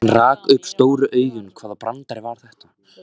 Hann rak upp stór augu, hvaða brandari var þetta?